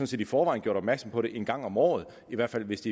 set i forvejen gjort opmærksom på det en gang om året i hvert fald hvis